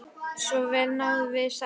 Svo vel náðum við saman.